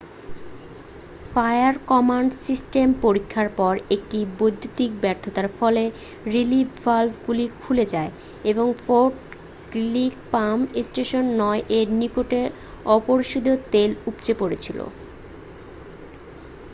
fire command system পরীক্ষার পর একটি বিদ্যুতের ব্যর্থতার ফলে রিলিফ ভালভগুলি খুলে যায় এবং ফোর্ট গ্রিলি পাম্প স্টেশন 9 এর নিকটে অপরিশোধিত তেল উপচে পড়েছিল